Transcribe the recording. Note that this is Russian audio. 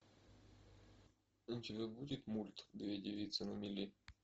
у тебя будет мульт две девицы на мели